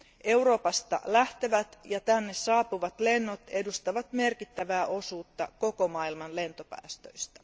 Euroopasta lähtevät ja tänne saapuvat lennot edustavat merkittävää osuutta koko maailman lentopäästöistä.